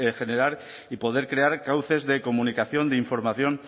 generar y poder crear cauces de comunicación de información